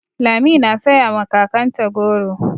Lami na saya ma kakanta goro.